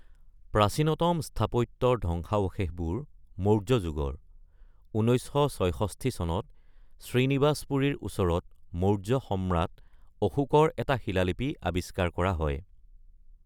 প্ৰাচীনতম স্থাপত্যৰ ধ্বংসাবশেষবোৰ মৌৰ্য যুগৰ; ১৯৬৬ চনত শ্ৰীনিবাসপুৰীৰ ওচৰত মৌৰ্য সম্ৰাট অশোকৰ এটা শিলালিপি আৱিষ্কাৰ কৰা হয়।